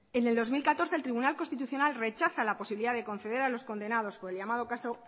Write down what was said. en el dos mil catorce el tribunal constitucional rechaza la posibilidad de conceder a los condenados por el llamado caso